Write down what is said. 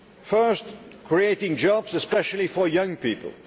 Firstly, creating jobs, especially for young people.